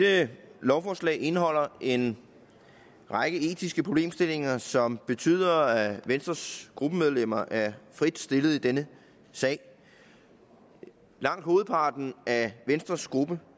dette lovforslag indeholder en række etiske problemstillinger som betyder at venstres gruppemedlemmer er fritstillet i denne sag langt hovedparten af venstres gruppe